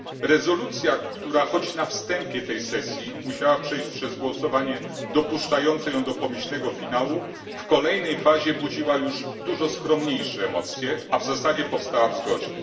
Rezolucja, która na wstępie tej sesji musiała przejść przez głosowanie dopuszczające ją do pomyślnego finału, w kolejnej fazie budziła już dużo skromniejsze emocje, a w zasadzie powstała w zgodzie.